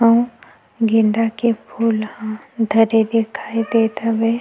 आऊ गेंदा के फूल ह धरे दिखाई देत हवे--